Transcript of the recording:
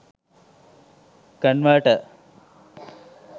converter